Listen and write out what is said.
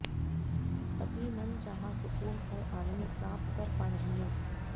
तभी मनचाहा सुकून और आनंद प्राप्त कर पाएंगे